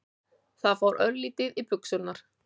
Það fór örlítið í buxurnar.